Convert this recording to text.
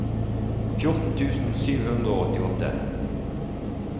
fjorten tusen sju hundre og åttiåtte